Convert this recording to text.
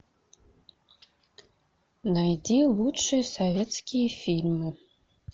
найди лучшие советские фильмы